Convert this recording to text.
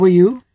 How are you